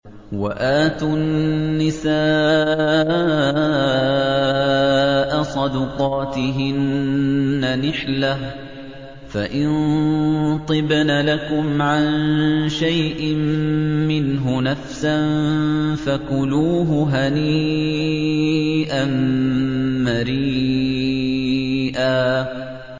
وَآتُوا النِّسَاءَ صَدُقَاتِهِنَّ نِحْلَةً ۚ فَإِن طِبْنَ لَكُمْ عَن شَيْءٍ مِّنْهُ نَفْسًا فَكُلُوهُ هَنِيئًا مَّرِيئًا